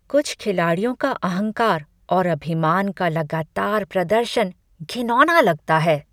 कुछ खिलाड़ियों का अहंकार और अभिमान का लगातार प्रदर्शन घिनौना लगता है।